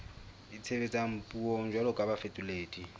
itshebetsang puong jwalo ka bafetoledi